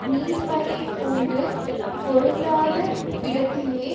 நீர்மையைப் பூண்டு பொருந்தாத விடத்திலே